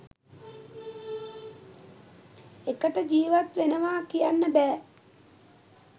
එකට ජීවත් වෙනවා කියන්න බෑ.